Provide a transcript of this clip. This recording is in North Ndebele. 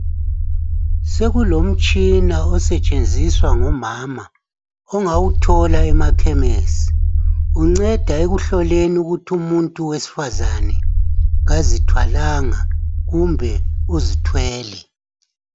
Sokulomtshina osetshenziswa ngumama, ongawuthola emakhemesi. Unceda ukuhloleni ukuthi umuntu owesifazanaa kazithwalanga kumbe uzithwele.